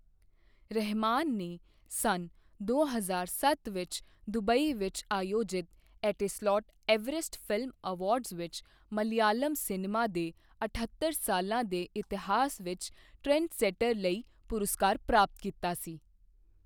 ਰਹਿਮਾਨ ਨੇ ਸੰਨ ਦੋ ਹਜ਼ਾਰ ਸੱਤ ਵਿੱਚ ਦੁਬਈ ਵਿੱਚ ਆਯੋਜਿਤ ਐਟੀਸਲਾਟ ਐਵਰੈਸਟ ਫ਼ਿਲਮ ਐਵਾਰਡਜ਼ ਵਿੱਚ ਮਲਿਆਲਮ ਸਿਨੇਮਾ ਦੇ ਅਠੱਤਰ ਸਾਲਾਂ ਦੇ ਇਤਿਹਾਸ ਵਿੱਚ 'ਟ੍ਰੈਂਡਸੈਟਰ' ਲਈ ਪੁਰਸਕਾਰ ਪ੍ਰਾਪਤ ਕੀਤਾ ਸੀ।